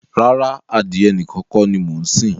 Rárá, adìyẹ nìkan kọ́ ni mo ń sìn.